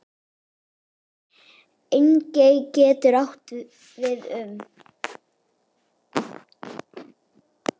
Engey getur átt við um